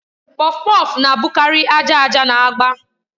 Kpọfkpọf na-abụkarị aja aja na agba